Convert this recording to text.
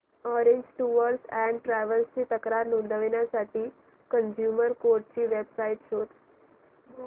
orange Tours and Travels ची तक्रार नोंदवण्यासाठी कंझ्युमर कोर्ट ची वेब साइट शोध